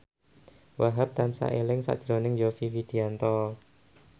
Wahhab tansah eling sakjroning Yovie Widianto